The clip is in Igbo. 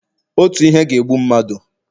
otu ihe ga-egbu mmadu